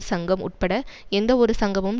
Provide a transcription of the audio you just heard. சங்கம் உட்பட எந்தவொரு சங்கமும்